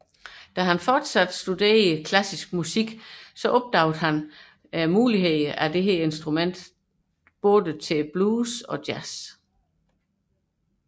Under sine fortsatte studier af klassisk musik blev han opmærksom på instrumentets muligheder i blues og jazz